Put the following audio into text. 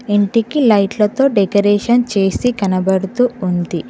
ఇంటికి లైట్లతో డెకరేషన్ చేసి కనబడుతూ ఉంది.